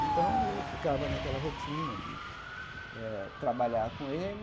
Então eu ficava naquela rotina de eh trabalhar com ele,